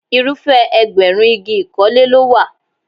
Irúfẹ́ ẹgbẹ̀rún igi ìkọ́lé ló wà.